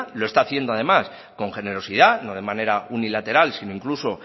lo está haciendo además con generosidad no de manera unilateral sino incluso